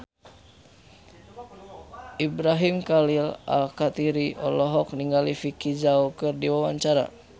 Ibrahim Khalil Alkatiri olohok ningali Vicki Zao keur diwawancara